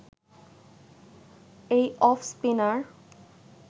এই off spinner